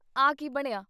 ਆਹ ਕੀ ਬਣਿਆਂ ?